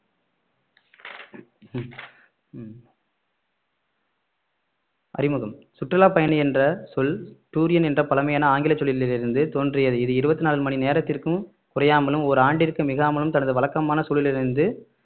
உம் அறிமுகம் சுற்றுலா பயணி என்ற சொல் டூரியன் என்ற பழமையான ஆங்கில சொல்லிலிருந்து தோன்றியது இது இருபத்தி நாலு மணி நேரத்திற்கும் குறையாமலும் ஒரு ஆண்டிற்கு மிகாமலும் தனது வழக்கமான சூழலிலிருந்து